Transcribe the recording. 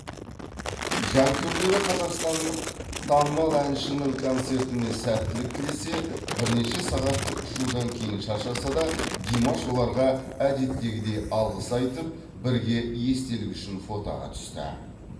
жанкүйерлері қазақстандық танымал әншінің концертіне сәттілік тілесе бірнеше сағаттық ұшудан кейін шаршаса да димаш оларға әдеттегідей алғыс айтып бірге естелік үшін фотоға түсті